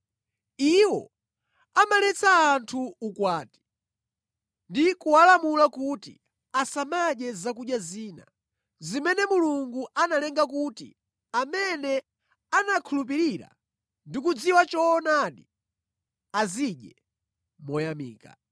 Iwo amaletsa anthu ukwati ndi kuwalamula kuti asamadye zakudya zina, zimene Mulungu analenga kuti amene anakhulupirira ndi kudziwa choonadi, azidye moyamika.